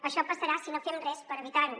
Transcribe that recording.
això passarà si no fem res per evitar ho